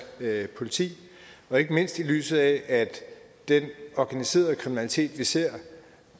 politi ikke mindst i lyset af at den organiserede kriminalitet vi ser